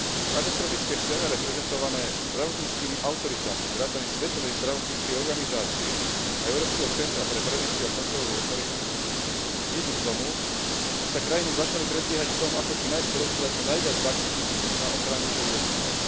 Katastrofické scenáre prezentované zdravotníckymi autoritami vrátane Svetovej zdravotníckej organizácie a Európskeho centra pre prevenciu a kontrolu chorôb viedli k tomu, že sa krajiny začali predbiehať v tom, ako čo najskôr obstarať čo najviac vakcín na ochranu svojich občanov.